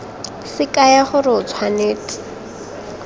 se kaya gore o tshwanetse